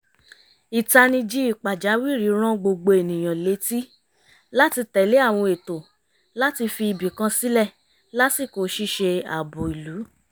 ìtanijí pàjáwìrì rán gbogbo ènìyàn létí láti tẹ̀lé àwọn ètò láti fi ibìkan sílẹ̀ lásìkò ṣíṣe ààbò ìlú